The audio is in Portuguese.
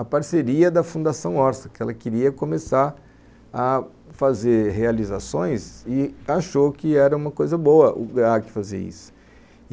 a parceria da Fundação Orça, que ela queria começar a fazer realizações e achou que era uma coisa boa o Graac fazer isso.